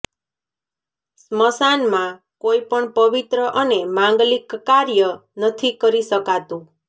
સ્મશાન માં કોઈ પણ પવિત્ર અને માંગલિક કાર્ય નથી કરી શકાતું